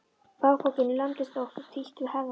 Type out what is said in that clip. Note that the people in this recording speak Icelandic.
Bakpokinn lamdist ótt og títt við herðarnar.